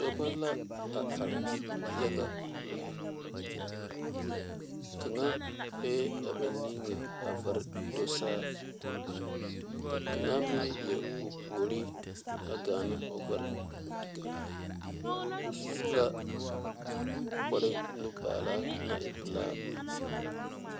Dɔbɔ la a are yaga le kaŋ be ba niŋe a varɛ do saa ka kaŋa meŋ leɛ o puoriŋ te gaana o gbɛre te ŋare o su la kpaare nubala te ŋare.